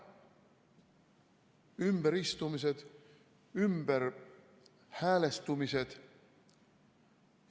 Ümberistumised, ümberhäälestumised.